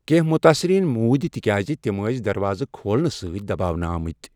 کٮ۪نٛہہ مُتٲثریٖن موٗدۍ تِکیٛازِ تِم ٲس دروازٕ کھۄلنہٕ سۭتۍ دباونہٕ آمٕتۍ۔